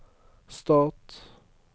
stat